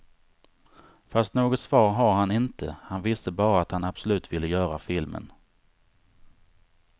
Fast något svar har han inte, han visste bara att han absolut ville göra filmen.